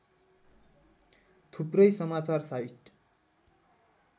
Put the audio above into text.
थुप्रै समाचार साइट